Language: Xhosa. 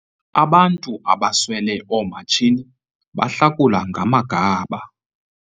Abantu abaswele oomatshini bahlakula ngamagaba.